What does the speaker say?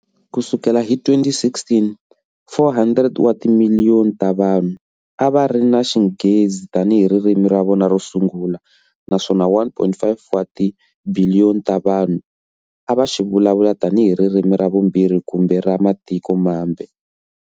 Ku sukela hi 2016, 400 wa timiliyoni ta vanhu a va ri na Xinghezi tanihi ririmi ra vona ro sungula, naswona 1.1 wa tibiliyoni ta vanhu a va xi vulavula tanihi ririmi ra vumbirhi kumbe ra matiko mambe.